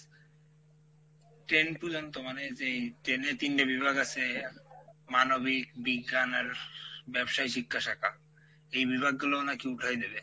ten পুর্যন্ত মানে যেই ten এ তিনটা বিভাগ আছে মানবিক, বিজ্ঞান আর ব্যবসায়ী শিক্ষা শাখা এই বিভাগ গুলোও নাকি উঠাই দেবে,